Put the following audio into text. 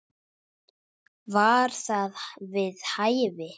Var það við hæfi?